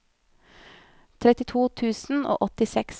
trettito tusen og åttiseks